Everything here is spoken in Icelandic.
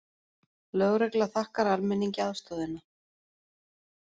Lögregla þakkar almenningi aðstoðina